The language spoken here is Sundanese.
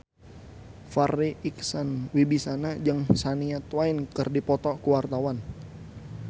Farri Icksan Wibisana jeung Shania Twain keur dipoto ku wartawan